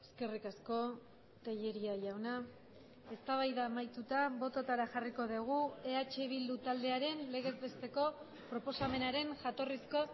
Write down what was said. eskerrik asko tellería jauna eztabaida amaituta bototara jarriko dugu eh bildu taldearen legez besteko proposamenaren jatorrizko